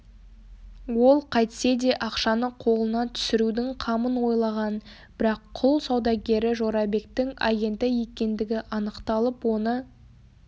ол қайтсе де ақшаны қолына түсірудің қамын ойлаған бірақ құл саудагері жорабектің агенті екендігі анықталып оны